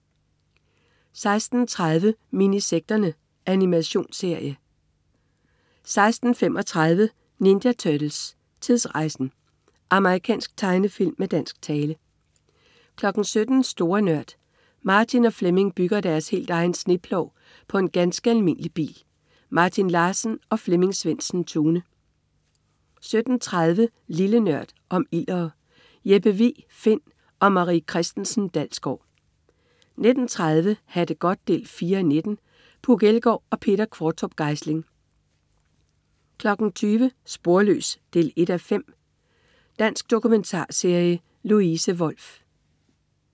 16.30 Minisekterne. Animationsserie 16.35 Ninja Turtles: Tidsrejsen! Amerikansk tegnefilm med dansk tale 17.00 Store Nørd. Martin og Flemming bygger deres helt egen sneplov på en ganske almindelig bil. Martin Larsen og Flemming Svendsen-Tune 17.30 Lille Nørd. Om ildere. Jeppe Vig Find & Marie Christensen Dalsgaard 19.30 Ha' det godt 4:19. Puk Elgård og Peter Qvortrup Geisling 20.00 Sporløs 1:5. Dansk dokumentarserie. Louise Wolff